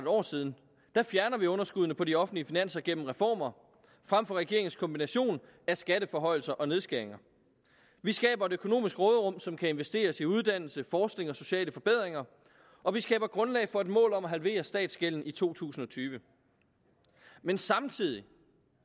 år siden fjerner vi underskuddene på de offentlige finanser gennem reformer frem for regeringens kombination af skatteforhøjelser og nedskæringer vi skaber et økonomisk råderum som kan investeres i uddannelse forskning og sociale forbedringer og vi skaber grundlag for et mål om at halvere statsgælden i to tusind og tyve men samtidig